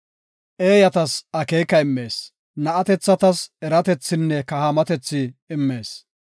Eeyatas akeeka immees; na7atethatas eratethinne kahaamatethi immees.